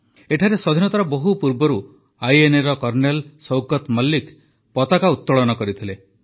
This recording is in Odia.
ଏଠାରେ ସ୍ୱାଧୀନତାର ବହୁ ପୂର୍ବରୁ ଆଇଏନ୍ଏର କର୍ଣ୍ଣେଲ ଶୌକତ୍ ମଲିକ୍ ପତାକା ଉତ୍ତୋଳନ କରିଥିଲେ